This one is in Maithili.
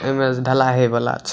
ऐमे जे ढलाय हेय वाला छै।